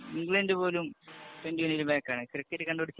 England പോലും back ആണ്. Cricket കണ്ടു പിടിച്ച